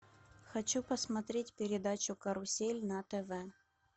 хочу посмотреть передачу карусель на тв